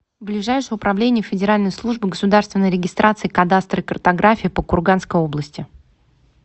ближайший управление федеральной службы государственной регистрации кадастра и картографии по курганской области